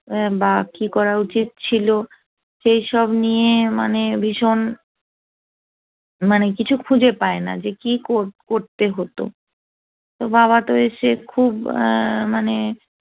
বা কি করা উচিত ছিল সেই সব নিয়ে মানে ভীষণ মানে কিছু খুঁজে পায় না যে কি করতে হতো তো বাবা তো এসে খুব মানে